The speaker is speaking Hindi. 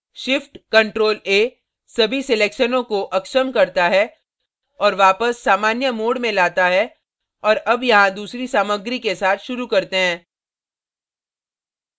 shift ctrl a सभी selections को अक्षम करता है और वापस सामान्य mode में लाता है और अब यहाँ दूसरी सामग्री के साथ शुरू करते हैं